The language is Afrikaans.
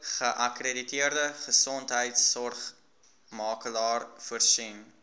geakkrediteerde gesondheidsorgmakelaar voorsien